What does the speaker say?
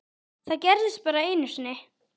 Það gerðist bara einu sinni.